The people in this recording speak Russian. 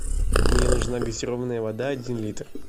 мне нужна газированная вода один литр